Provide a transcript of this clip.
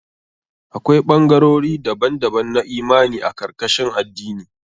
Akwai ɓangarori daban-daban na imani a karkashin addini.